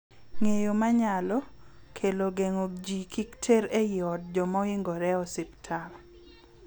Ng'eyo ma nyalo, kelo geng'o ji kik ter eod joma ohingore ospital.